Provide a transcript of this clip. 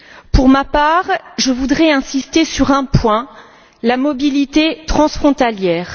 Pour ma part, je voudrais insister sur un point la mobilité transfrontalière.